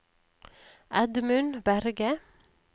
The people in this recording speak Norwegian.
Edmund Berge